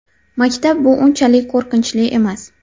Maktab bu unchalik qo‘rqinchli emas.